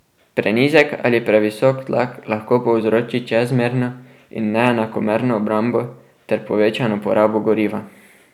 Prenizek ali previsok tlak lahko povzroči čezmerno in neenakomerno obrabo ter povečano porabo goriva.